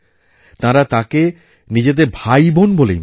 তারা তাকে নিজেদের ভাইবোন বলেই মানে